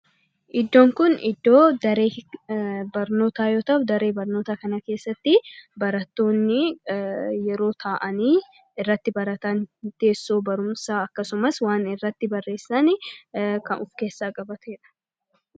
Iddoon kun iddoo daree barnootaa yoo ta'u, daree barnootaa kana keessatti barattoonni yeroo taa'anii irratti baratan, teessoo barumsaa akkasumas waan irratti barreessan kan of keessaa qabatudha.